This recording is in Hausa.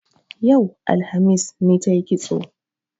Yau, alhamis, ne tayi kitso